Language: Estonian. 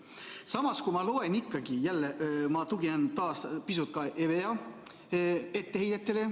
Samas, ma tuginen taas pisut EVEA etteheidetele.